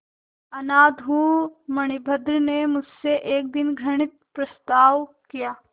अनाथ हूँ मणिभद्र ने मुझसे एक दिन घृणित प्रस्ताव किया